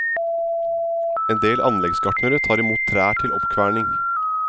En del anleggsgartnere tar imot trær til oppkverning.